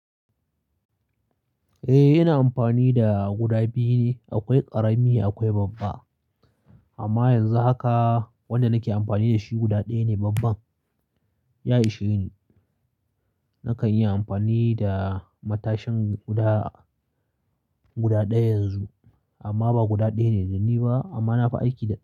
Eh, ina amfani da guda biyu ne, akwai ƙarami akwai babba. Amma yanzu haka wanda nake amfani da shi guda ɗaya ne babban. Ya ishe ni. Nakan yi amfani da matashin guda, guda ɗaya yanzu, amma ba guda ɗaya ne da ni ba amma na fi aiki da shi.